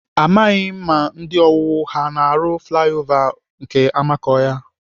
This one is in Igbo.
Amaghị m ma ndị owuwu ha na-arụ flaya ova n'amakọhịa.